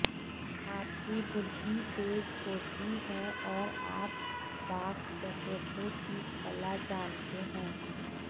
आपकी बुद्धि तेज़ होती हैऔर आप वाक् चातुर्य की कला जानते हैं